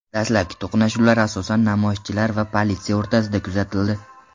Dastlabki to‘qnashuvlar asosan namoyishchilar va politsiya o‘rtasida kuzatildi.